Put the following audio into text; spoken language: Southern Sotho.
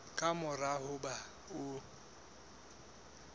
ka mora ho ba o